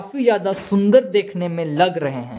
ज्यादा सुंदर देखने में लग रहे हैं।